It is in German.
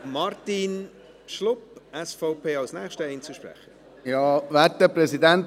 Als nächster Einzelsprecher folgt Martin Schlup, SVP.